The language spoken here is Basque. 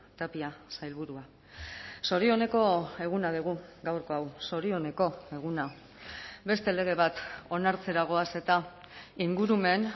tapia sailburua zorioneko eguna dugu gaurko hau zorioneko eguna beste lege bat onartzera goaz eta ingurumen